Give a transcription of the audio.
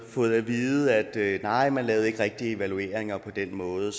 fået at vide at nej man lavede ikke rigtig evalueringer på den måde